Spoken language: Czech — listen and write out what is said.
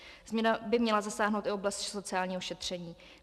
Změna by měla zasáhnout i oblast sociálního šetření.